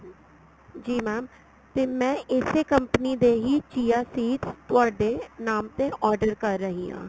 ਜੀ mam ਤੇ ਮੈਂ ਇਸੇ company ਦੇ ਹੀ chia seeds ਤੁਹਾਡੇ ਨਾਮ ਤੇ order ਕਰ ਰਹੀ ਆ